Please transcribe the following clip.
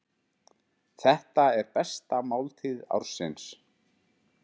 Þetta er besta máltíð ársins.